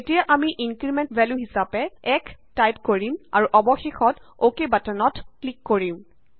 এতিয়া আমি increment value হিচাপে 1 টাইপ কৰিম আৰু অৱশেষত অকে বাটনত ক্লিক কৰিম